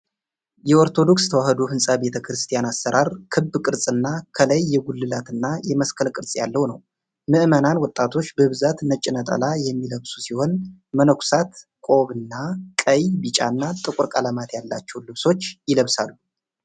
የኦርቶዶክስ ተዋሕዶ ህንፃ ቤተክርስቲያን አሰራር ክብ ቅርፅ እና ከላይ የጉልላት እና የመስቀል ቅርፅ ያለው ነው። ምዕመናን ወጣቶች በብዛት ነጭ ነጠላ የሚለብሱ ሲሆን መነኮሳት ቆብ እና ቀይ፣ ቢጫ እና ጥቁር ቀለማት ያላቸውን ልብሶች ይለብሳሉ።